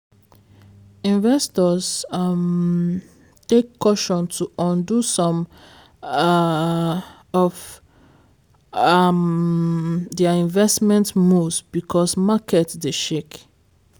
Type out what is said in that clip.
investors um take caution to undo some um of um their investment moves because market dey shake